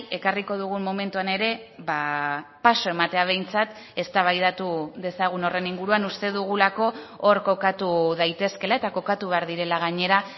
ekarriko dugun momentuan ere paso ematea behintzat eztabaidatu dezagun horren inguruan uste dugulako hor kokatu daitezkela eta kokatu behar direla gainera